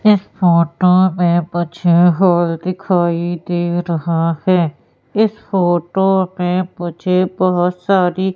इस फोटो मे मुझे हॉल दिखाई दे रहा है इस फोटो मे मुझे बहोत सारी--